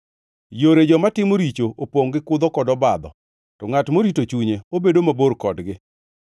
Yore joma timo richo opongʼ gi kudho kod obadho; to ngʼat morito chunye obedo mabor kodgi.